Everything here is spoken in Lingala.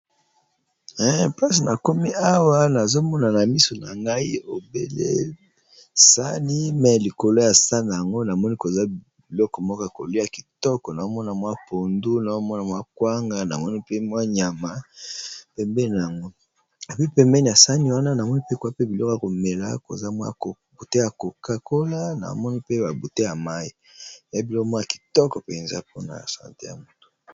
Place na komi awa nazomonana miso na ngai ebelesani me likolo ya san yango namoni koza biloko moko kolia kitoko naomona mwa pondu naomona mwa kwanga namoni mpe mwa nyama pembena yango abi pembeni ya sani wana na mwi mpe kwa pe biloko ya komela koza mwa bute ya kokakola na omoni mpe babute ya mai nabilo mwoya kitoko mpenza mpona sante ya motu.